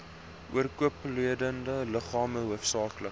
oorkoepelende liggame hoofsaaklik